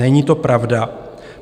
Není to pravda.